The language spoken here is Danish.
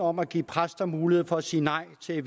om at give præster mulighed for at sige nej til at